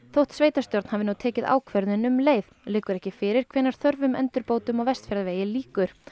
þótt sveitarstjórn hafi nú tekið ákvörðun um leið liggur ekki fyrir hvenær þörfum endurbótum á Vestfjarðavegi lýkur